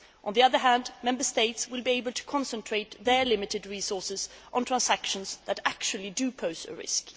On the other hand, Member States will be able to concentrate their limited resources on transactions that actually do pose a risk.